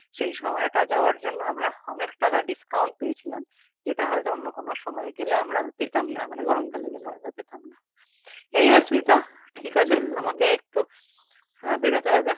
সেই সময়টা যাওয়ার জন্য আমরা অনেক টাকা discount পেয়েছিলাম যেটা হয়তো অন্য কোনও সময় গেলে আমরা পেতাম না মানে গরমকালে গেলে আমরা পেতাম না anyways smita ঠিক আছে আমাকে একটু হ্যাঁ বেরোতে হবে thank you